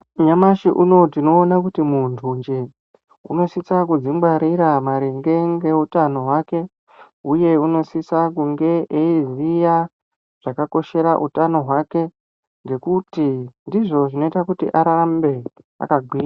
Nyamashi unowu tinoona kuti muntunje unosise kuzvingwarira maringe neutano hwake uye unosise kunge eiziya zvakakoshera utano hwake ngekuti, ndizvo zvinoite kuti arambe akagwinya.